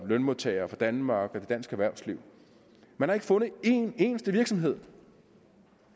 lønmodtagere og for danmark og for dansk erhvervsliv man har ikke fundet en eneste virksomhed